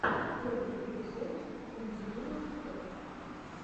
первый эпизод ендьюро топ